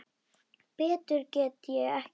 Betur get ég ekki gert.